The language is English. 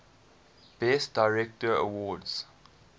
best director award